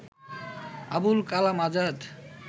Abul Kalam Azad